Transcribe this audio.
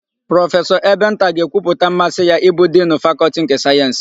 Prọfesọ Ebenta ga-ekwupụta mmasị ya ịbụ Dinu Fakọltị nke Sayensị.